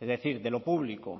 es decir de lo público